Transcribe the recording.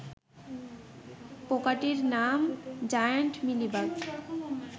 পোকাটির নাম giant mealybug.